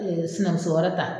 sinanmuso wɛrɛ ta